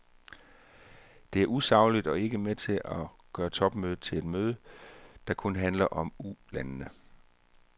Det er usagligt og er med til at gøre topmødet til et møde, der kun handler om ulandene.